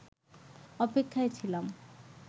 অপেক্ষায় ছিলাম